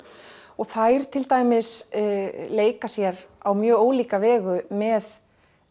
og þær til dæmis leika sér á mjög ólíka vegu með